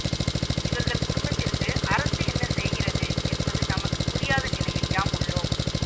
இவர்கள் குடும்பத்திற்கு அரசு என்ன செய்கிறது என்பது நமக்கு புரியாத நிலையில் யாம் உள்ளோம்